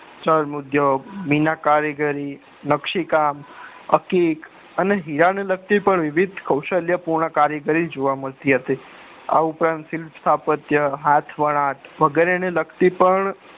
ચર્મ ઉદ્યોગ મિનાર કારીગરી નકશી કામ અકીક અને હીરાને લગતી વિવિધ કોશ્લાય પુન કારીગરી જોવા મળતી હતી આ ઉપરાંત શિલ્પ સ્થાપ્તીય હાથ વણાંક વગેરે લગતી પણ